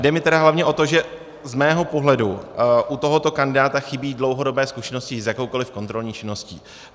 Jde mi tedy hlavně o to, že z mého pohledu u tohoto kandidáta chybí dlouhodobé zkušenosti s jakoukoliv kontrolní činností.